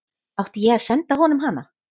Átti ég að senda honum hana?